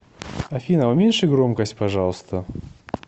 афина уменьши громкость пожалуйста